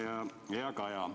Hea Kaja!